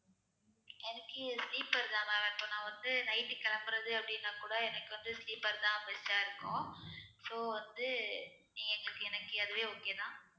எனக்கு sleeper தான் ma'am நான் இப்ப நான் வந்து night கிளம்புறது அப்படின்னா கூட எனக்கு வந்து sleeper தான் best ஆ இருக்கும் so வந்து எங்களுக்கு எனக்கு அதுவே okay தான்